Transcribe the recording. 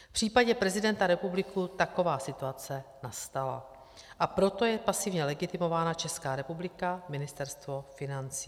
V případě prezidenta republiky taková situace nastala, a proto je pasivně legitimována Česká republika, Ministerstvo financí.